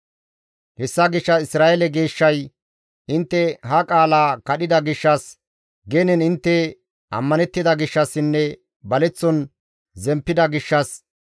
Hessa gishshas Isra7eele Geeshshay, «Intte ha qaala kadhida gishshas, genen intte ammanettida gishshassinne baleththon zemppida gishshas,